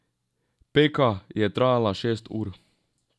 Peka je trajala šest ur.